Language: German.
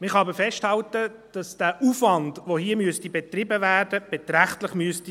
Man kann aber festhalten, dass der Aufwand, der hier betrieben werden müsste, beträchtlich sein müsste.